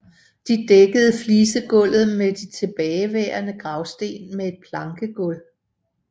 De dækkede flisegulvet med de tilbageværende gravsten med et plankegulv